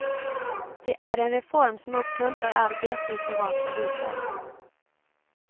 Det är en reform som uppmuntrar arbete i privata hushåll.